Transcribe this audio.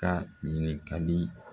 Ka ɲininkali